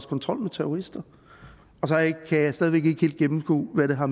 kontrol med terrorister og så kan jeg stadig væk ikke helt gennemskue hvad det har